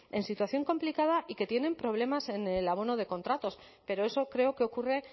en situación complicada y que tienen problemas en el abono de contratos pero eso creo que ocurre